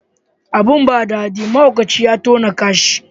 Abin ba dadi, mahaukaci ya tauna kasha.